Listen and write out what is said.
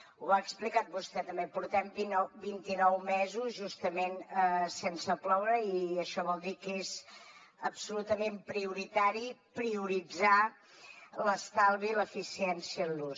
ho ha explicat vostè també portem vint i nou mesos justament sense ploure i això vol dir que és absolutament prioritari prioritzar l’estalvi i l’eficiència en l’ús